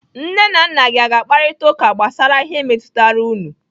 Nne na nna gi aga-akparita ụka gbasara ihe metụtara unu?